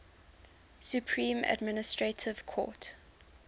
supreme administrative court